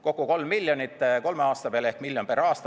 Kokku 3 miljonit kolme aasta peale ehk miljon aastas.